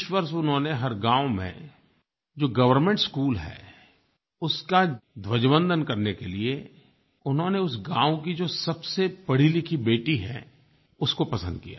इस वर्ष उन्होंने हर गाँव में जो गवर्नमेंट स्कूल है उसका ध्वजवंदन करने के लिए उन्होंने उस गाँव की जो सबसे पढ़ीलिखी बेटी है उसको पसंद किया